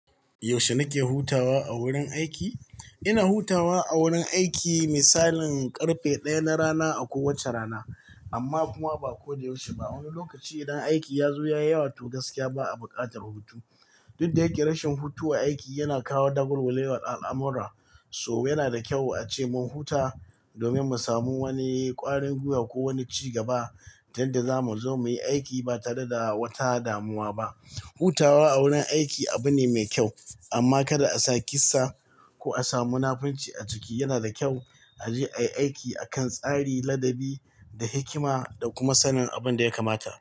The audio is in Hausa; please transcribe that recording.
Yaushe nake hutawa a wurin aiki? Ina hutawa a wurin aiki misalin karfe ɗaya na rana a kowace rana, amma kuma ba kodayaushe ba. Wani lokaci idan aiki ya zo ya yi yawa to gaskiya ba a buƙatar hutu. Duk da yake rashin hutu a aiki yana kawo dagwalgwalewar al'amura, so yana da kyau a ce mun huta domin mu samu wani ƙwarin gwiwa ko wani ci gaba tunda zamu zo muyi aiki ba tare da wata damuwa ba. Hutawa a wurin aiki abu ne mai kyau amma kada a sa kissa ko a sa munafurci a ciki. Yana da kyau a je a yi tsari ladabi da hikima da kuma sanin abin da ya kamata.